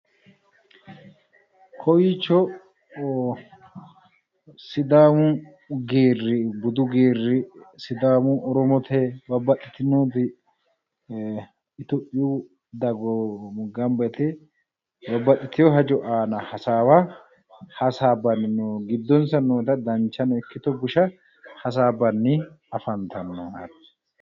Kowiicho sidaamu geerri budu geerri sidaamu oromote babbaxxitinori itophiyu dagoomi babbaxxiteyo hajo aana hasaawa hasaabbanni no giddonsa noota ikkito danchano bushano hasaabbanni afantanno.